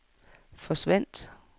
forsvandt